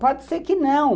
Pode ser que não.